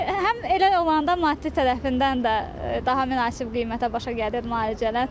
Ki, həm elə olanda maddi tərəfindən də daha münasib qiymətə başa gəlir müalicələr.